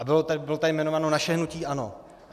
A bylo tady jmenováno naše hnutí ANO.